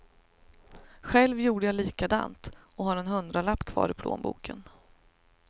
Själv gjorde jag likadant och har en hundralapp kvar i plånboken.